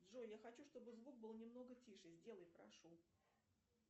джой я хочу чтобы звук был немного тише сделай прошу